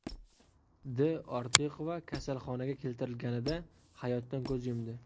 D. Ortiqova kasalxonaga keltirilganida hayotdan ko‘z yumdi.